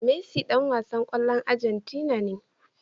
Messi Dan wasan kwallon agentina ne